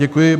Děkuji.